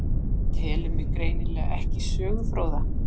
Telur mig greinilega ekki sögufróða.